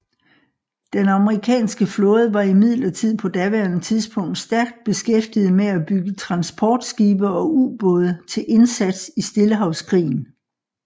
Den amerikanske flåde var imidlertid på daværende tidspunkt stærkt beskæftiget med at bygge transportskibe og ubåde til indsats i Stillehavskrigen